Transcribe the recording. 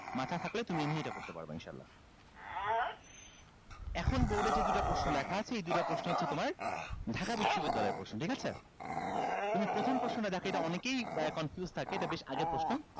মাথা খাটলে তুমি এমনি এটা করতে পারবা ইনশাল্লাহ এখন board এ যে দুইটা প্রশ্ন লেখা আছে এই দুইটা প্রশ্ন হচ্ছে তোমার ঢাকা বিশ্ববিদ্যালয়ের প্রশ্ন ঠিক আছে তুমি প্রথম প্রশ্নটা দেখো এটা অনেকেই confuse থাকে এটা বেশ আগের প্রশ্ন